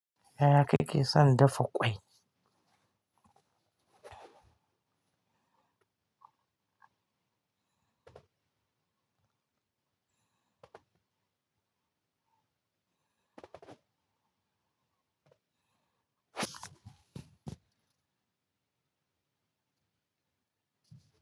Yaya kike son dafa kwai?